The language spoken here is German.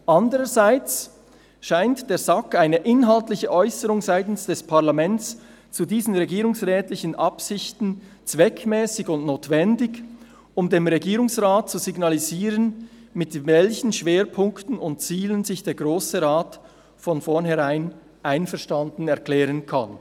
Andererseits scheint der SAK eine inhaltliche Äusserung seitens des Parlaments zu diesen regierungsrätlichen Absichten zweckmässig und notwendig, um dem Regierungsrat zu signalisieren, mit welchen Schwerpunkten und Zielen sich der Grosse Rat von vornherein einverstanden erklären kann.